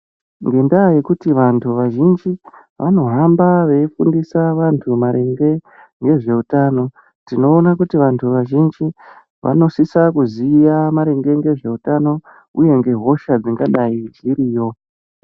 Ngendaa yekuti vantu vazhinji vanohamba veifundisa vantu maringe ngezveutano, tinoona kuti vantu vazhinji vanosisa kuziya maringe ngezveutano uye ngehosha dzingadai dziriyo.